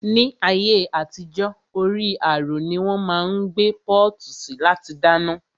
Ni ayé àtijó, orí àrò ni wón máa ń gbé pọ́ọ̀tù sí láti dáná